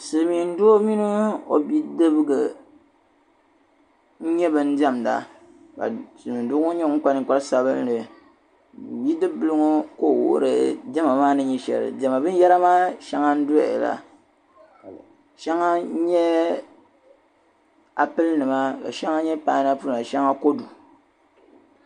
silimiin doo mini o bidibga n nyɛ ban diɛmda ka silimiin doo ŋɔ nyɛ ŋun kpa ninkpari sabinli bidib'bil ŋɔ ka o wuhiri diɛma maa ni nyɛ sheli diɛma binyera maa sheŋa n doya la sheŋa nyɛ apil nima ka sheŋa nye painapil nima sheŋa kodu